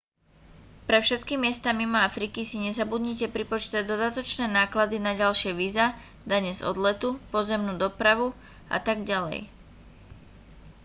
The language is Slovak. pre všetky miesta mimo afriky si nezabudnite pripočítať dodatočné náklady na ďalšie víza dane z odletu pozemnú dopravu atď